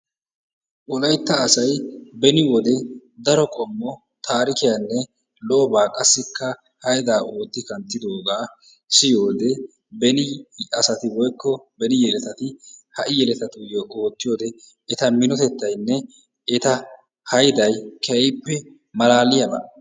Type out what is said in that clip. wolaytta asay beni wode daro qommo taarikiyanne lo'obaa qassikka haydaa ootti kanttidoogaa siyiyoode beni asati woykko beni yeletati ha'i yeletatuyo ootiyode eta minotettaynne eta hayday keehippe malaaliyaba.